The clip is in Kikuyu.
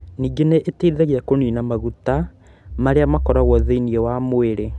Ningĩ nĩ ĩteithagia kũniina maguta marĩa makoragwo thĩinĩ wa mwĩrĩ.